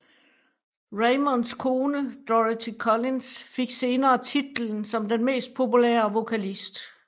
Raymonds kone Dorothy Collins fik senere titlen som den mest populære vokalist